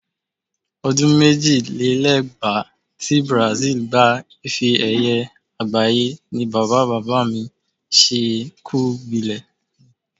O̩dún méjìlélẹ́gbàá ti Brazil gba ife-è̩ye̩ àgbáyé ni bàbá-bá-mi-s̩ẹ́-ẹ-kù-gbilè̩.